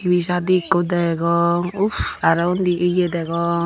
T_V sadi ekko degong uff aro undi yeh degong.